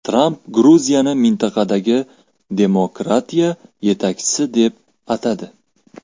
Tramp Gruziyani mintaqadagi demokratiya yetakchisi deb atadi.